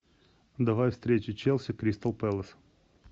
давай встречу челси кристал пэлас